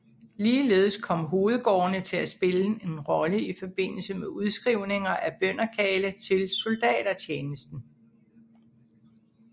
Ligeledes kom hovedgårdene til at spille en rolle i forbindelse med udskrivninger af bønderkarle til soldatertjenesten